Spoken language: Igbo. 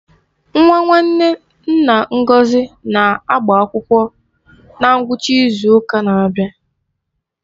Nwa nwanne nna Ngọzi na-agbaakwụkwọ na ngwụcha ịzu ụka na-abịa.